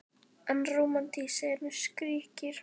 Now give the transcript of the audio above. En rómantískt, segir hún og skríkir.